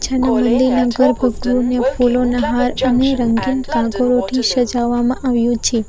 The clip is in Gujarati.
અને મંદિરના ગર્ભગૃહને ફૂલોના હાર અને રંગીન કાગળોઠી સજાવામાં આવ્યું છે.